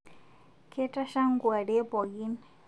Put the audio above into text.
Ketasha nkuarie pookin